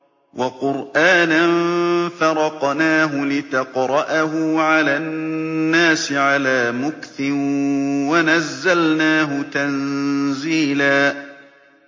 وَقُرْآنًا فَرَقْنَاهُ لِتَقْرَأَهُ عَلَى النَّاسِ عَلَىٰ مُكْثٍ وَنَزَّلْنَاهُ تَنزِيلًا